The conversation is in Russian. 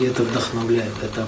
это вдохновлять да да